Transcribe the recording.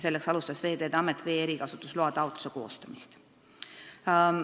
Selleks alustas Veeteede Amet vee erikasutusloa taotluse koostamist.